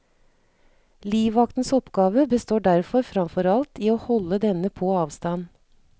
Livvaktens oppgave består derfor framfor alt i å holde denne på avstand.